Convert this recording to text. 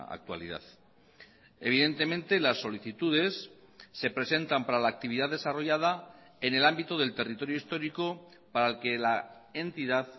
actualidad evidentemente las solicitudes se presentan para la actividad desarrollada en el ámbito del territorio histórico para el que la entidad